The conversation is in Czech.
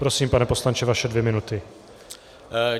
Prosím, pane poslanče, vaše dvě minuty.